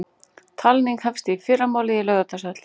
Talning hefst í fyrramálið í Laugardalshöll